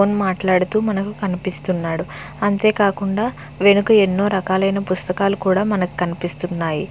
Phone మాట్లాడుతూ మనం కనిపిస్తున్నాడు. అంతే కాకుండా వెనుక ఎన్నో రకాలైన పుస్తకాలు కూడా మనకు కనిపిస్తున్నాయి.